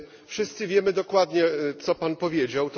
Wszyscy wiemy dokładnie, co Pan powiedział.